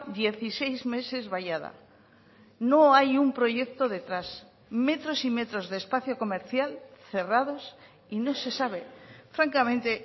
dieciséis meses vallada no hay un proyecto detrás metros y metros de espacio comercial cerrados y no se sabe francamente